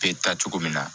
Bɛ taa cogo min na